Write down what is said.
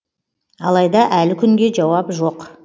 алайда әлі күнге жауап жоқ